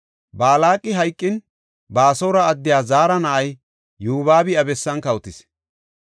Balaaqi hayqin, Baasora addey Zaara na7ay Yobaabi iya bessan kawotis.